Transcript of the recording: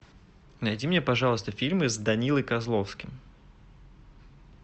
найди мне пожалуйста фильмы с данилой козловским